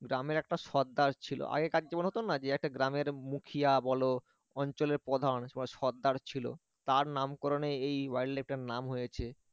গ্রামের একটা সরদার ছিল আগেকার যেমন হতো না গ্রামের একটা মুখিয়া বল অঞ্চলের প্রধান সরদার ছিল তার নামকরণে এই wild life টার নাম হয়েছে